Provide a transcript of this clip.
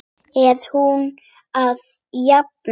Er hún að jafna sig?